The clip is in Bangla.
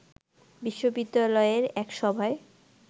বিশ্ববিদ্যালয়ের এক সভায়